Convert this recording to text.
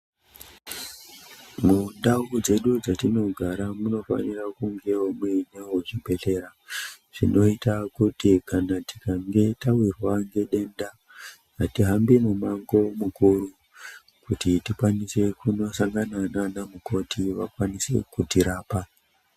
Mundau dzedu dzatinogara munofanira kungewo muine zvibhedhlera zvinoita kuti kana tikange tawirwa ngedenda atihambi mumango mukuru kuti tikwanise kunosangana nana mukoti kuti vakwanise kutirap.